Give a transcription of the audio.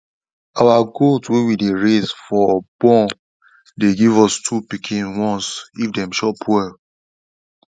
our goat wey we dey raise for born dey give us two pikin once if dem chop well